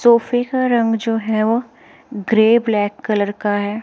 सोफे का रंग जो है वो ग्रे ब्लैक कलर का है।